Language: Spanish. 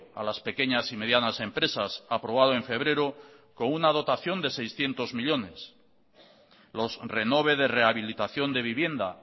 a las pequeñas y medianas empresas aprobado en febrero con una dotación de seiscientos millónes los renove de rehabilitación de vivienda